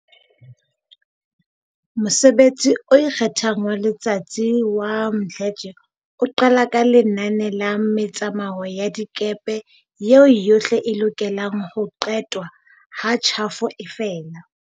Mosebetsi o ikgethang wa letsatsi wa Mdletshe o qala ka lenane la metsamao ya dikepe eo yohle e lokelang ho qetwa ha tjhafo e fela.